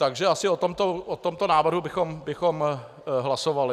Takže asi o tomto návrhu bychom hlasovali.